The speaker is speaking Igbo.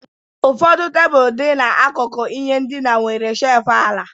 Ụfọdụ tebụl dị n'akụkụ ihe ndina nwere shelf ala